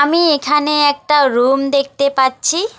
আমি এখানে একটা রুম দেখতে পাচ্ছি।